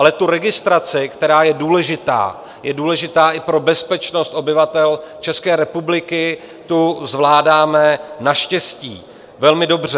Ale tu registraci, která je důležitá, je důležitá i pro bezpečnost obyvatel České republiky, tu zvládáme naštěstí velmi dobře.